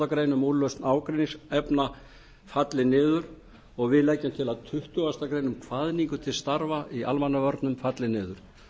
greinar um úrlausn ágreiningsefna falli niður og við leggjum til að tuttugustu greinar um kvaðningu til starfa í almannavörnum falli niður